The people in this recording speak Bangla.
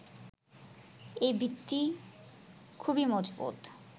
এই ভিত্তি খুবই মজবুত।